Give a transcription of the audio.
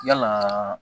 Yalaa